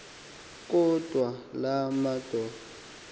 kodwa laa madod